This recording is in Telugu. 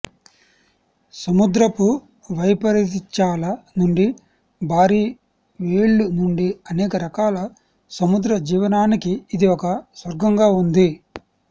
సముద్రపు వైపరీత్యాల నుండి భారీ వేల్లు నుండి అనేక రకాల సముద్ర జీవనానికి ఇది ఒక స్వర్గంగా ఉంది